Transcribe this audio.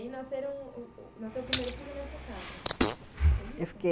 E aí nasceram... Nasceu o primeiro filho nessa casa, foi isso? eu fiquei